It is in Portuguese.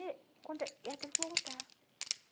E como que é, ela teve que voltar.